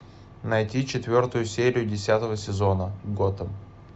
найти четвертую серию десятого сезона готэм